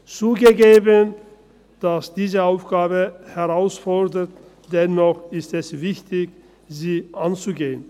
Zugegeben, diese Aufgabe ist herausfordernd, dennoch ist es wichtig, sie anzupacken.